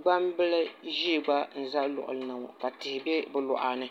gbambili ʒiɛ gba n ʒɛ luɣuli ni ŋo ka tihi bɛ bi luɣa ni